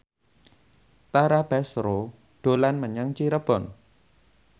Tara Basro dolan menyang Cirebon